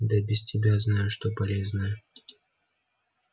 да без тебя знаю что полезное